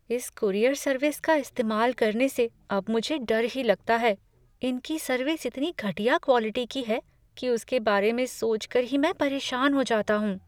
इस courier service का इस्तेमाल करने से अब मुझे डर ही लगता है। इनकी सर्विस इतनी घटिया क्वालिटी की है कि उसके बारे में सोचकर ही मैं परेशान हो जाता हूँ।